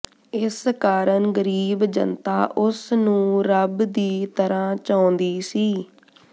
ਇਸ ਕਾਰਨ ਗਰੀਬ ਜਨਤਾ ਉਸਨੂੰ ਰੱਬ ਦੀ ਤਰ੍ਹਾਂ ਚਾਹੁੰਦੀ ਸੀ